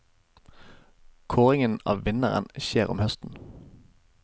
Kåringen av vinneren skjer om høsten.